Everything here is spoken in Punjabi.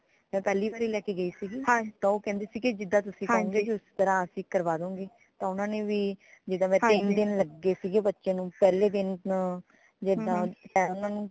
ਮੈਂ ਪਹਿਲੀ ਵਾਰੀ ਲੈ ਕੇ ਗਈ ਸੀਗੀਤਾਂ ਓ ਕਹਿੰਦੇ ਸੀਗੇ ਜਿਦਾ ਤੁਸੀ ਕਹੋਗੇ ਉਸ ਤਰਾਹ ਅਸੀਂ ਕਰਵਾ ਦਿਆਂਗੇ ਤਾਂ ਊਨਾ ਨੇ ਵੀ ਜਿਦਾ ਤੀਨ ਦਿਨ ਲਗੇ ਸੀਗੇ ਬੱਚੇ ਨੂਪਹਿਲੇ ਦਿਨ ਉਂ ਜਿਦਾ ਕਯਾ ਉਨ੍ਹਾਂਨੂੰ